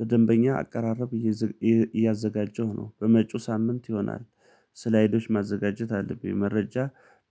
ለደንበኛ አቀራረብ እያዘጋጀሁ ነው በመጡ ሳምንት ይሆናል። ስላይዶች ማዘጋጀት አለብኝ መረጃ